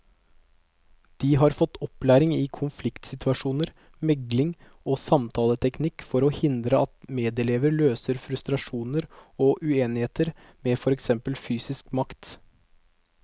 De har fått opplæring i konfliktsituasjoner, megling og samtaleteknikk for å hindre at medelever løser frustrasjoner og uenighet med for eksempel fysisk makt.